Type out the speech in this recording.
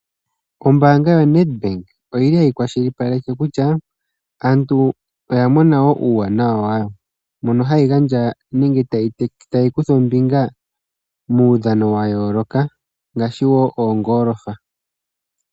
Ombaanga yaNedbank oyili hayi kwashilipaleke kutya aantu oyamona wo uuwanawa wayo. Mono hayi gandja nenge tayi kutha ombinga muudhano wayooloka ngaashi wogoolofa.